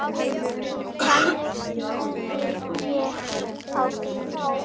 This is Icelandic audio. Þannig sneri ég á þá.